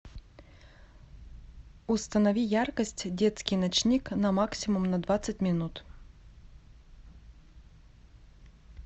установи яркость детский ночник на максимум на двадцать минут